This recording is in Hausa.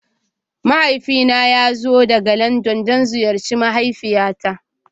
Mahaifina ya zo daga Landan don ziyarci mahaifiyata.